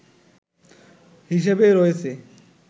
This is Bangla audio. হিসাবে রয়েছে